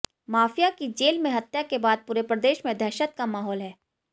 mafia की jail में हत्या के बाद पूरे प्रदेश में दहशत का माहौल है